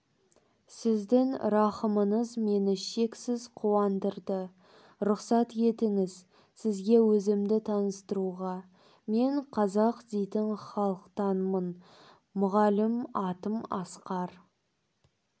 сіздің рахымыңыз мені шексіз қуандырды рұқсат етіңіз сізге өзімді таныстыруға мен қазақ дейтін халықтанмын мұғалім атым асқар